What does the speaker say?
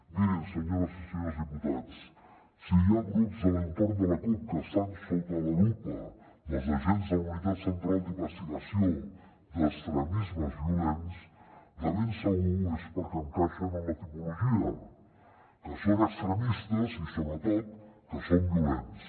mirin senyores i senyors diputats si hi ha grups de l’entorn de la cup que estan sota la lupa dels agents de la unitat central d’investigació d’extremismes violents de ben segur és perquè encaixen en la tipologia que són extremistes i sobretot que són violents